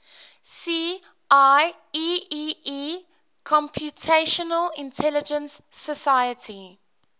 see ieee computational intelligence society